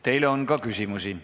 Teile on ka küsimusi.